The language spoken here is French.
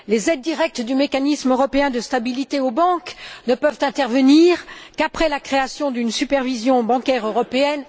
Les aides directes du mécanisme européen de stabilité aux banques ne peuvent intervenir qu'après la création d'une supervision bancaire européenne.